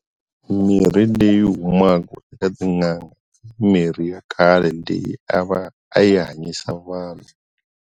Mirhi leyi humaka eka tin'anga i mirhi ya khale leyi a va a yi hanyisa vanhu.